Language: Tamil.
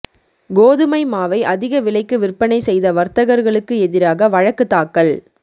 கோதுமை மாவை அதிக விலைக்கு விற்பனை செய்த வர்த்தகர்களுக்கு எதிராக வழக்கு தாக்கல்